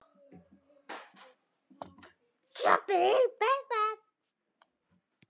Og á soninn.